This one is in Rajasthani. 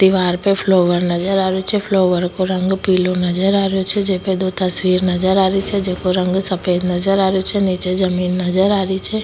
दिवार पे फ्लोवर नजर आ रियो छे फ्लोवर को रंग पिलो नजर आ रहियो छे जे पे दो तस्वीर नजर आ रही छे जेको रंग सफ़ेद नजर आ रियो छे नीचे जमीन नजर आ रही छे।